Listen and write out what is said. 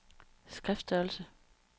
skriftstørrelse